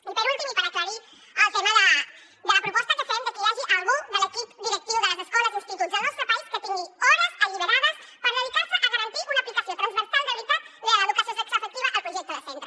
i per últim i per aclarir el tema de la proposta que fem de que hi hagi algú de l’equip directiu de les escoles i instituts al nostre país que tingui hores alliberades per dedicar se a garantir una aplicació transversal de veritat de l’educació sexoafectiva al projecte de centre